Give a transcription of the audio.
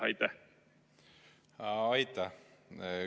Aitäh!